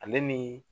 Ale ni